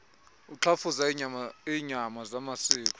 uxhafuza iinyama zamasiko